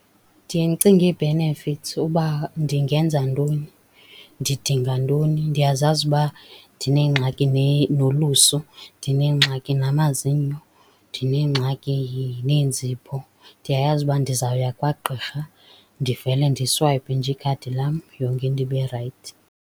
Ndiye ndicinge ii-benefits uba ndingenza ntoni, ndidinga ntoni. Ndiyazazi ukuba ndinengxaki nolusu, ndinengxaki namazinyo, ndinengxaki neenzipho, ndiyayazi uba ndizawuya kwagqirha ndivele ndiswayipe nje ikhadi lam yonke into ibe rayithi.